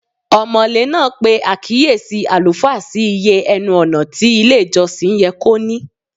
Ọmọ̀lé náà pe àkíyèsí àlùfáà sí iye ẹnu-ọ̀nà tí ilé-ìjọsìn yẹ kó ní.